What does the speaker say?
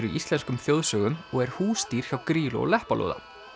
í íslenskum þjóðsögum og er húsdýr hjá Grýlu og Leppalúða